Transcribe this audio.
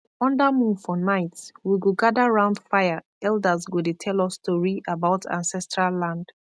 under moon for night we go gather round fire elders go dey tell us story about ancestral land